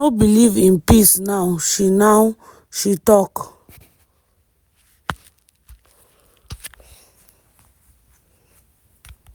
“i no believe in peace now” she now” she tok.